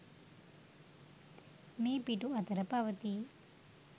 මේ පිටු අතර පවතී